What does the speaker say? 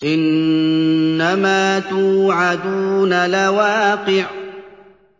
إِنَّمَا تُوعَدُونَ لَوَاقِعٌ